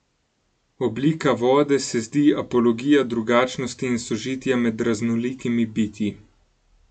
Oblika vode se zdi apologija drugačnosti in sožitja med raznolikimi bitji.